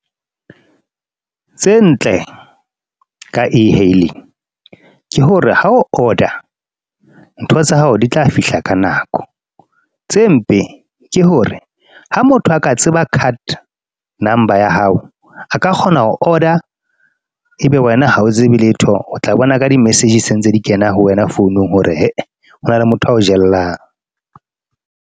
Tse ntle ka e-hailing ke hore ha o order ntho tsa hao di tla fihla ka nako. Tse mpe, ke hore ha motho a ka tseba card number ya hao, a ka kgona ho order, ebe wena ha o tsebe letho. O tla bona ka di message se ntse di kena ho wena founung hore hona le motho ao jellang.